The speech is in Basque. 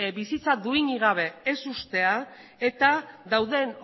bizitza duinik gabe ez uztea eta dauden